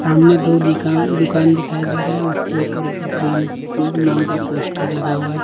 सामने दो दिकान दुकान दिखाई दे रहा है उसके ऊपर ग्रीन नाम का पोस्टर लगा हुआ है।